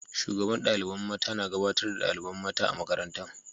Shugaban dalibain mata na gabatar da dalibain mata a'makarantan.